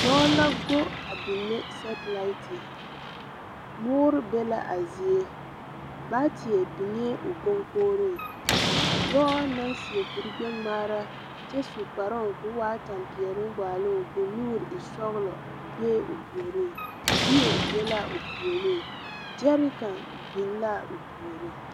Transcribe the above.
Dɔɔ la go a binne sɛtelaite. Moore be la a zie. baateɛ biŋee o koŋkogiriŋ. Dɔɔ naŋ seɛ kurigbɛŋmaara kyɛ su kparoo k’o waa tampeɛloŋ waaloŋ k’o nuuri e sɔgelɔ bee o puoriŋ. Yie be la ao puoriŋ, gyɛreka biŋ la o puoriŋ.